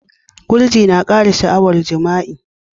Gurji na kara sha'awar jima'i.